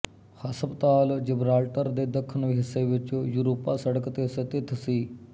ਹਸਪਤਾਲ ਜਿਬਰਾਲਟਰ ਦੇ ਦੱਖਣ ਹਿੱਸੇ ਵਿੱਚ ਯੂਰੋਪਾ ਸੜਕ ਤੇ ਸਥਿਤ ਸੀ